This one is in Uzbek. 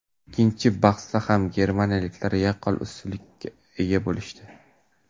Ikkinchi bahsda ham germaniyaliklar yaqqol ustunlikka ega bo‘lishdi.